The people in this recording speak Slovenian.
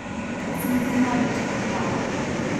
To se mi zdi največja pohvala.